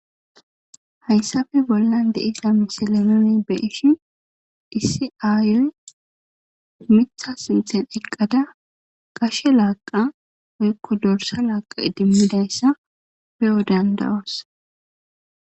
haysafe bollan deisa misilemoone be ishi issi ayoy mitha sinthan eqqada gashe laaqa oykko dorsa laaqa idimmidayssa pe7o dandawoos